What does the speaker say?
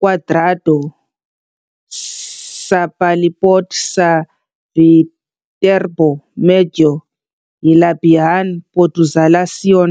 kwadrado sa palibot sa Viterbo medyo hilabihan populasyon.